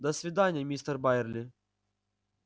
до свидания мистер байерли